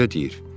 Elə deyir.